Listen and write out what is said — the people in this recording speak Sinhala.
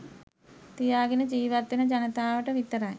තියාගෙන ජීවත් වෙන ජනතාවට විතරයි.